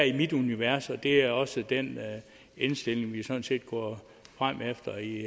i mit univers og det er også den indstilling vi sådan set går frem efter i